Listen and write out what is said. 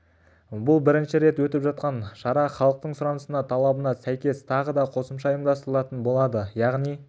бұл бірінші рет өтіп жатқан шара халықтың сұранысына талабына сәйкес тағы да қосымша ұйымдастырылатын болады яғни